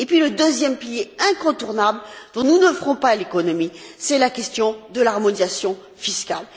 Le deuxième pilier incontournable, dont nous ne ferons pas l'économie, c'est la question de l'harmonisation fiscale.